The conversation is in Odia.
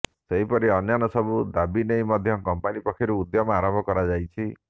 ସେହିପରି ଅନ୍ୟାନ୍ୟ ସବୁ ଦାବି ନେଇ ମଧ୍ୟ କମ୍ପାନୀ ପକ୍ଷରୁ ଉଦ୍ୟମ ଆରମ୍ଭ କରାଯାଇଛି